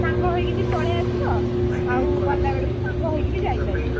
ସାଙ୍ଗ ହେଇକି ପଳେଇ ଆସିବ! ଆଉ ଗଲାବେଳକୁ ସାଙ୍ଗ ହେଇକିବି ଯାଇପାରିବ।